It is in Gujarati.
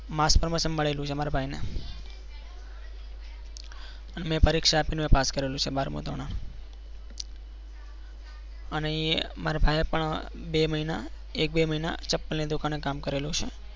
mass promotion મળેલું છે મારા ભાઈને મેં પરીક્ષા આપીને પાસ કરેલું છે બાર મુ ધોરણ અને એ મારા ભાઈએ પણ બે મહિના એક બે મહિના ચપ્પલ ની દુકાને કામ કરેલું છે.